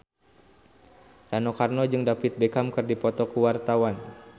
Rano Karno jeung David Beckham keur dipoto ku wartawan